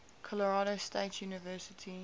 colorado state university